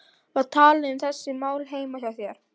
Var talað um þessi mál heima hjá þér?